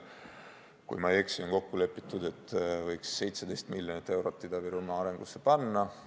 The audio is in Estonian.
Kui ma ei eksi, on kokku lepitud, et võiks 17 miljonit eurot Ida-Virumaa arengusse panna.